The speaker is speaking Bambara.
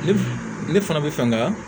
Ne b ne fana bɛ fɛ nga